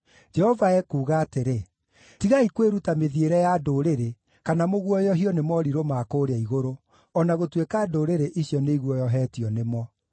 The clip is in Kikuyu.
Jehova ekuuga atĩrĩ: “Tigai kwĩruta mĩthiĩre ya ndũrĩrĩ, kana mũguoyohio nĩ morirũ ma kũũrĩa igũrũ, o na gũtuĩka ndũrĩrĩ icio nĩiguoyohetio nĩmo.